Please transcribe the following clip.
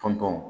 Tɔn tɔn